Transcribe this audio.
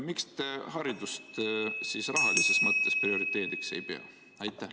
Miks te haridust rahalises mõttes prioriteediks ei pea?